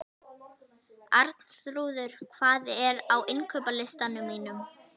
Arnþrúður, hvað er á innkaupalistanum mínum?